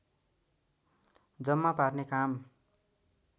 जम्मा पार्ने काम